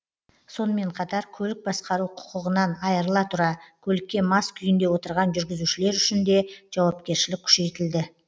сонымен қатар көлік басқару құқығынан айырыла тұра көлікке мас күйінде отырған жүргізушілер үшін де жауапкершілік күшейтілді